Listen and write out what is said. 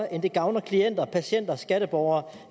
end det gavner klienter og patienter og skatteborgere